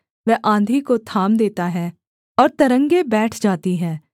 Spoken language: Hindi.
वह आँधी को थाम देता है और तरंगें बैठ जाती हैं